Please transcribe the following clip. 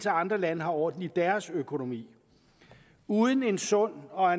andre lande har orden i deres økonomi uden en sund og